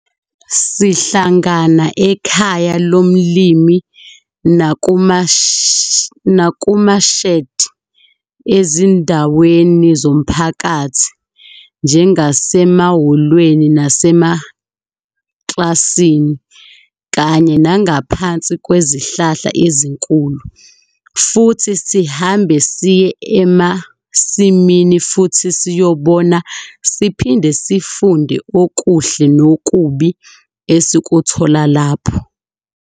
Sihlangana ekhaya lomlimi nakuma-shed, ezindaweni zomphakathi njengasemahholweni nasemaklasini kanye nangaphansi kwezihlahla ezinkulu, futhi sihambe siye emasimini futhi siyobona siphinde sifunde okuhle nokubi esikuthola lapho.